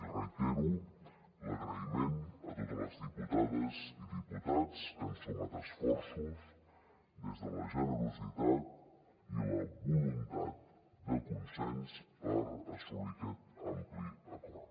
i reitero l’agraïment a totes les diputades i diputats que han sumat esforços des de la generositat i la voluntat de consens per assolir aquest ampli acord